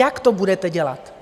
Jak to budete dělat?